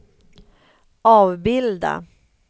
avbilda